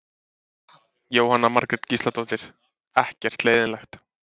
Jóhanna Margrét Gísladóttir: Ekkert leiðinlegt?